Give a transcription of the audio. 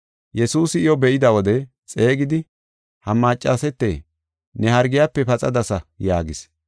Yesuusi iyo be7ida wode xeegidi, “Ha maccasete, ne hargiyafe paxadasa” yaagis.